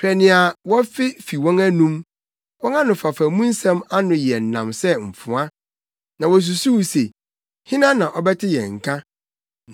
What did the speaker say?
Hwɛ nea wɔfe fi wɔn anom, wɔn anofafa mu nsɛm ano yɛ nnam sɛ mfoa, na wosusuw se: “Hena na ɔbɛte yɛn nka?”